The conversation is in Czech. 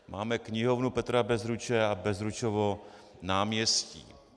Máme knihovnu Petra Bezruče a Bezručovo náměstí.